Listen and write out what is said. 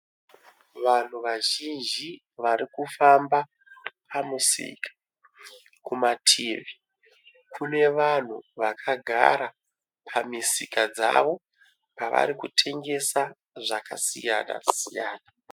Vanhu vazhinji varikufamba pamusika . Kumativi kune vanhu vakagara pamisika dzavo pavari kutengesa zvakasiyana siyana.